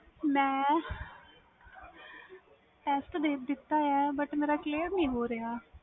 ਮੈਂ test ਦੇ ਦਿੱਤਾ ਵ ਪਰ clear ਨਹੀਂ ਹੋ ਰਹੇ